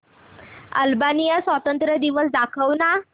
Albania स्वातंत्र्य दिवस दाखव ना